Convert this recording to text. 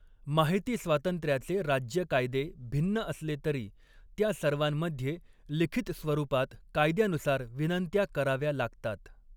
माहितीस्वातंत्र्याचे राज्य कायदे भिन्न असले तरी, त्या सर्वांमध्ये लिखित स्वरूपात कायद्यानुसार विनंत्या कराव्या लागतात.